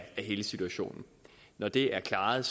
hele situationen når det er klaret